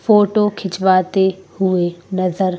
photo खिंचवाते हुए नजर--